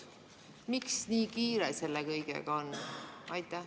Miks nii kiire selle kõigega on?